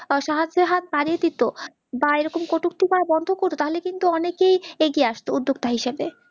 সাহায্যের হাত বাড়িয়ে দিত বা এরকম কটূক্তি করা বন্দো করত তাহলে কিন্তু অনেকেই আগিয়ে আসত উদ্দগতা হিসেবে